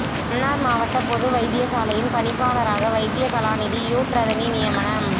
மன்னார் மாவட்ட பொது வைத்தியசாலையின் பணிப்பாளராக வைத்தியகலாநிதி யூட் றதனி நியமனம்